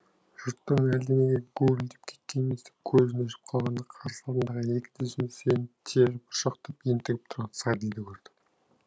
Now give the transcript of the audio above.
жұрттың әлде неге гуілдеп кеткенін естіп көзін ашып қалғанда қарсы алдында екі тізесіне сүйеніп тері бұршақтап ентігіп тұрған сариді көрді